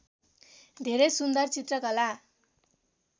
धेरै सुन्दर चित्रकला